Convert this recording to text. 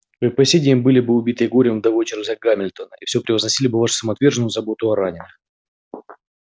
вы и по сей день были бы убитой горем вдовой чарлза гамильтона и всё превозносили бы вашу самоотверженную заботу о раненых